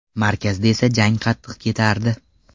Markazda esa jang qattiq ketardi.